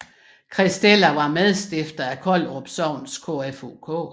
Christella var medstifter af Kollerup sogns KFUK